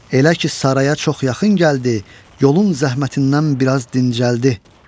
Elə ki saraya çox yaxın gəldi, yolun zəhmətindən biraz dincəldi.